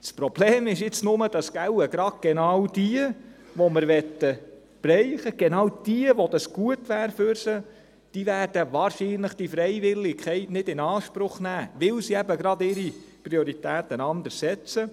Das Problem ist nur, dass wohl genau diejenigen, die wir treffen möchten, diejenigen, für die dies gut wäre, wahrscheinlich die Freiwilligkeit nicht in Anspruch nehmen werden, weil sie eben ihre Prioritäten anders setzen.